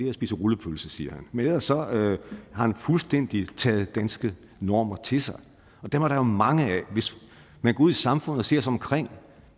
at spise rullepølse siger han men ellers har han fuldstændig taget danske normer til sig dem er der jo mange af hvis man går ud i samfundet og ser sig omkring